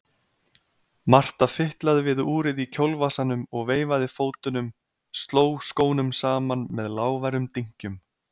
Marta fitlaði við úrið í kjólvasanum og veifaði fótunum, sló skónum saman með lágværum dynkjum.